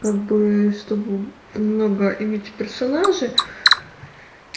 как бы чтобы много иметь персонажей